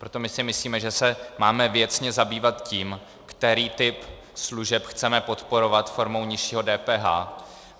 Proto my si myslíme, že se máme věcně zabývat tím, který typ služeb chceme podporovat formou nižšího DPH.